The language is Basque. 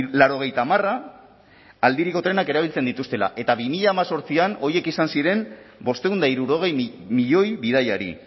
laurogeita hamarra aldiriko trenak erabiltzen dituztela eta bi mila hemezortzian horiek izan ziren bostehun eta hirurogei milioi bidaiari